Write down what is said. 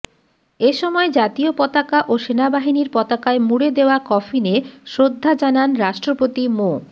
এ সময় জাতীয় পতাকা ও সেনাবাহিনীর পতাকায় মুড়ে দেওয়া কফিনে শ্রদ্ধা জানান রাষ্ট্রপতি মো